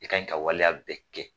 I kaɲi ka waleya bɛɛ kɛ